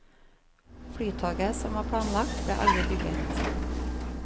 Flytoget, som var planlagt, ble aldri bygget.